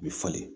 U bɛ falen